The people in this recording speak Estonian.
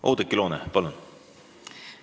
Oudekki Loone, palun!